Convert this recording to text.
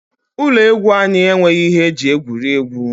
Ụlọ egwu anyị enweghị ihe eji egwuri egwu.